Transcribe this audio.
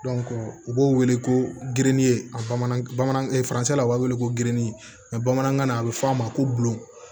u b'o wele ko gende a bamanankan bamanan u b'a wele ko geren bamanankan na a bɛ f'a ma ko bulon